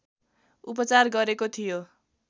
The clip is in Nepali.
उपचार गरेको थियो